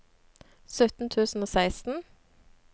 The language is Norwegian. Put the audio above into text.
sytten tusen og seksten